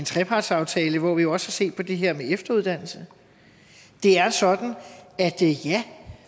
trepartsaftale hvor vi jo også har set på det her med efteruddannelse det er sådan at ja